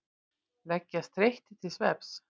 Leggjast þreyttir til svefns.